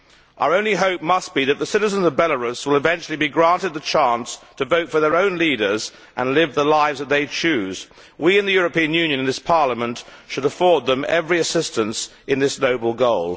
Our only hope must be that the citizens of Belarus will eventually be granted the chance to vote for their own leaders, and live the lives that they choose. We in the European Union and in this Parliament should afford them every assistance to achieving that noble goal.